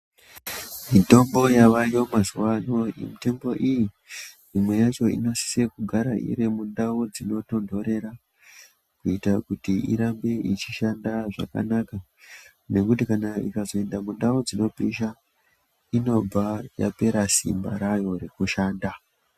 Mitombo yavako mazuwano mitombo iyi imwe yacho inosise kugara irimundau dzinotonhorera kuita kuti irambe ichishanda zvakanaka nekuti kana ikazoenda mundau dzinopisha unobva yapera simba rayo rwekushanda.